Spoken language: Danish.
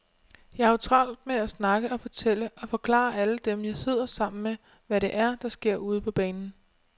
Jeg har jo travlt med at snakke og fortælle og forklare alle dem, jeg sidder sammen med, hvad det er, der sker ude på banen.